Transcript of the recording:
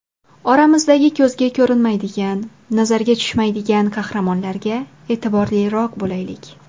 Oramizdagi ko‘zga ko‘rinmaydigan, nazarga tushmaydigan qahramonlarga e’tiborliroq bo‘laylik.